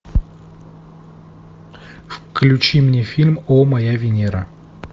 включи мне фильм о моя венера